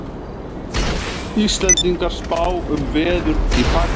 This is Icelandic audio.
Íslendingar spá um veður í Pakistan